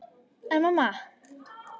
En mamma!